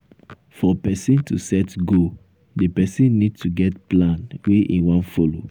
for person to set goal di person need to get plan wey im wan follow